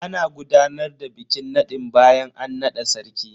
Ana gudanar da bikin nadin bayan an nada sarki.